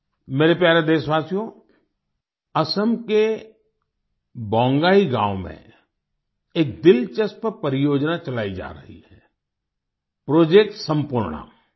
मेरे प्यारे देशवासियो असम के बोंगाई गाँव में एक दिलचस्प परियोजना चलाई जा रही है प्रोजेक्ट सम्पूर्णा